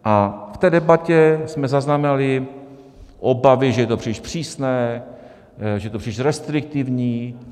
A v té debatě jsme zaznamenali obavy, že je to příliš přísné, že je to příliš restriktivní.